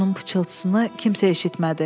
Onun pıçıltısını kimsə eşitmədi.